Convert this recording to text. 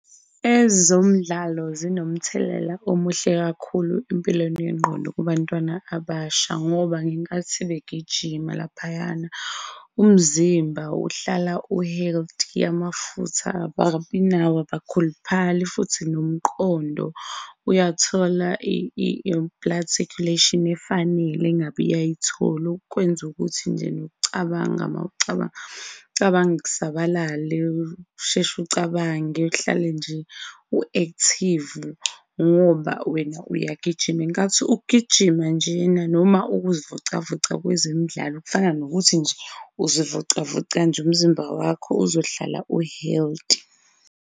Ezomdlalo zinomthelela omuhle kakhulu empilweni yengqondo kubantwana abasha ngoba ngenkathi begijima laphayana, umzimba uhlala u-healthy, amafutha ababinawo, abakhuluphali futhi nomqondo uyathola i-blood circulation efanele engabe iyayithola, okwenza ukuthi nje nokucabanga, mawucabanga, ucabange kusabalale, usheshe ucabange, uhlale nje u-active ngoba wena uyagijima. Ngenkathi ukugijima njena noma ukuzivocavoca kwezemidlalo kufana nokuthi nje uzivocavoca nje umzimba wakho uzohlala u-healthy.